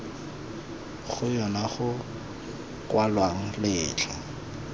go yona go kwalwang letlha